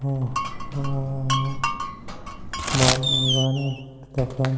आ औ बन निबारा फूट तखा।